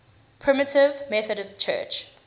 primitive methodist church